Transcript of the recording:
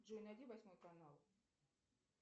джой найди восьмой канал